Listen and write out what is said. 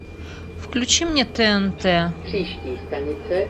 включи мне тнт